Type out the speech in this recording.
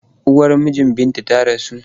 Uwar mijin Binta ta rasu.